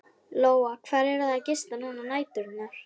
Lóa: Hvar eruð þið að gista núna á næturnar?